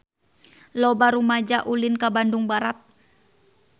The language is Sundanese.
Loba rumaja ulin ka Bandung Barat